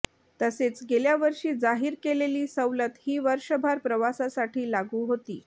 तसेच गेल्या वर्षी जाहीर केलेली सवलत ही वर्षभर प्रवासासाठी लागू होती